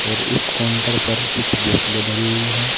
और उस काउंटर पर कुछ बोतलें धरी हुई हैं।